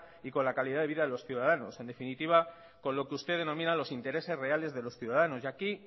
y con la calidad de vida de los ciudadanos en definitiva con lo que usted denomina los intereses reales de los ciudadanos y aquí